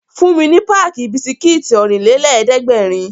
Fún mi ní páàkì bisikítì Ọ̀rìnlélẹ̀ẹ́dẹ́gbèrin!